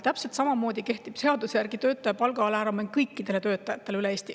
Täpselt samamoodi kehtib seaduse järgi töötaja palga alammäär kõikidele töötajatele üle Eesti.